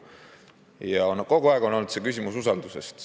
Ja kogu aeg on olnud küsimus usalduses.